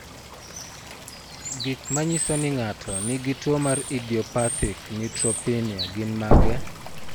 Gik manyiso ni ng'ato nigi tuwo mar idiopathic neutropenia gin mage?